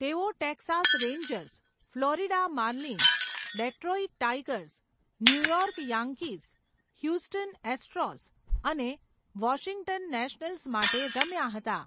તેઓ Texas Rangers, Florida Marlins, Detroit Tigers, New York Yankees, Houston Astros અને Washington Nationals માટે રમ્યા હતા.